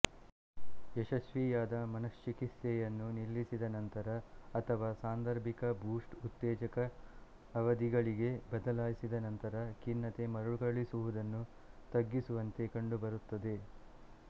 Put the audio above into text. ಯಶಸ್ವಿಯಾದ ಮನಶ್ಚಿಕಿತ್ಸೆಯನ್ನು ನಿಲ್ಲಿಸಿದ ನಂತರ ಅಥವಾ ಸಾಂದರ್ಭಿಕ ಬೂಸ್ಟರ್ಉತ್ತೇಜಕಅವಧಿಗಳಿಗೆ ಬದಲಾಯಿಸಿದ ನಂತರ ಖಿನ್ನತೆ ಮರುಕಳಿಸುವುದನ್ನು ತಗ್ಗಿಸುವಂತೆ ಕಂಡುಬರುತ್ತದೆ